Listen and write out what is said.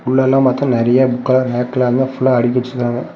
உள்ள எல்லா பக்கம் நெறைய புக்லாம் ரேக்ல அங்க ஃபுல்லா அடுக்கி வெச்சிருக்காங்க.